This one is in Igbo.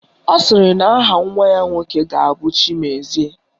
Ọ sịrị na aha nwa ya nwoke ga-abụ Chimezie